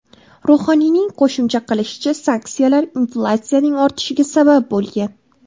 Ruhoniyning qo‘shimcha qilishicha, sanksiyalar inflyatsiyaning ortishiga sabab bo‘lgan.